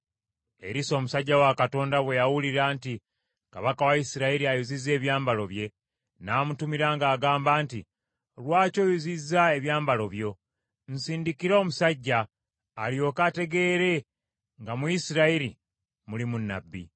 Erisa omusajja wa Katonda bwe yawulira nti kabaka wa Isirayiri ayuzizza ebyambalo bye, n’amutumira ng’agamba nti, “Lwaki oyuzizza ebyambalo byo? Nsindikira omusajja, alyoke ategeere nga mu Isirayiri mulimu nnabbi.”